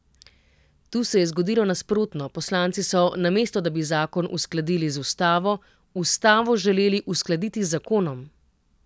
Tu se je zgodilo nasprotno, poslanci so, namesto da bi zakon uskladili z ustavo, ustavo želeli uskladiti z zakonom.